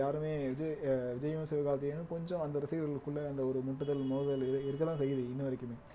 யாருமே இது அஹ் விஜயும் சிவகார்த்திகேயனும் கொஞ்சம் அந்த ரசிகர்களுக்குள்ள அந்த ஒரு முட்டுதல் மோதுதல் இருக் இருக்கத்தான் செய்யுது இன்ன வரைக்குமே